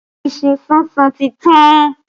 Iṣu súnsun ti tán